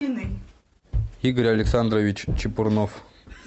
игорь александрович чепурнов